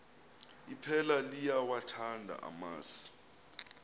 iphela liyawathanda amasi